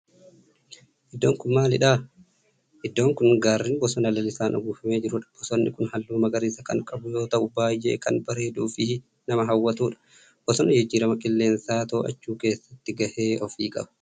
Iddoon kun maalidhaa? Iddoon kun gaarreen bosona lalisaan uwwifamee jirudha. Bosonni kun halluu magariisa kan qabu yoo ta'u baayyee kan barreeduu fi nama hawwatudha. Bosonni jijjiirama qilleensaa to'achuu keessatti gahee ofi qaba